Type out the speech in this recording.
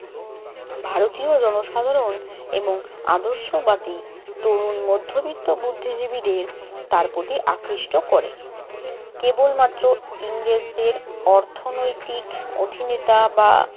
ভারতীয় জনসাধারণ এবং আদর্শবাদী তরুণ মধ্যবিত্ত বুদ্ধিজীবীদের তার প্রতি আকৃষ্ট করে। কেবলমাত্র ইংরেজদের অর্থনৈতিক অধীনতা বা